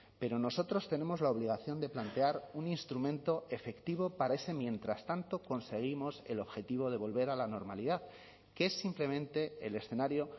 pero nosotros tenemos la obligación de plantear un instrumento efectivo para ese mientras tanto conseguimos el objetivo de volver a la normalidad que es simplemente el escenario